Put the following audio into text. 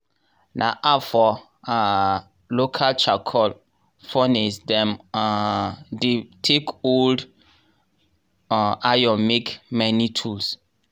n afor um local charcoal furnace dem um dey take old um iron make many tools.